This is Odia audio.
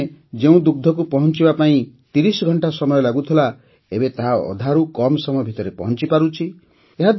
ପ୍ରଥମେ ଯେଉଁ ଦୁଗ୍ଧକୁ ପହଞ୍ଚାଇବା ପାଇଁ ତିରିଶ ଘଣ୍ଟା ସମୟ ଲାଗୁଥିଲା ଏବେ ତାହା ଅଧାରୁ କମ୍ ସମୟ ଭିତରେ ପହଞ୍ଚିପାରୁଛି